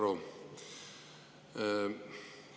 Hea Varro!